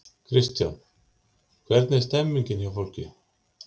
Kristján: Hvernig er stemmningin hjá fólki?